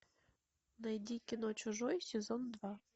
найди кино чужой сезон два